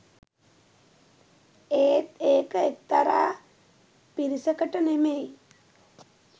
එත් ඒක එක්තරා පිරිසකට නෙමෙයි